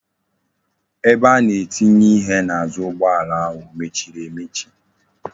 Ebe a na etinye ihe n'azu ugboala ahu emechiri emechi?